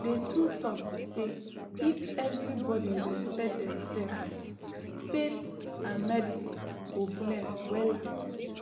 the true talk be say if everybody respect dem self faith and medicine go blend wella